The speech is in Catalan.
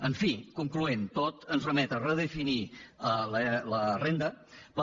en fi concloent tot ens remet a redefinir la renda per